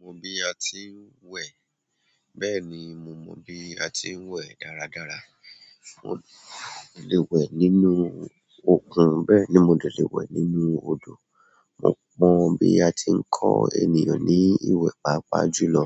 Mo mọ bi a ti ń wẹ̀. Bẹ́ẹ̀ ni, mo mọ bi a ti ń wẹ̀ dáradára. Mo lè wẹ̀ nínú òkun, bẹ́ẹ̀ ni mo lè wẹ̀ nínú odò. Mo mọ bi a ti ń kọ ènìyàn ní ìwẹ̀, pàápàá jùlọ,